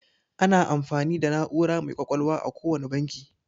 Ana amfani da na'ura mai ƙwaƙwalwa a kowane banki.